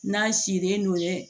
N'a sirilen don ye